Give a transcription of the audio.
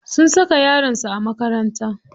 Sun saka yaron su a makaranta.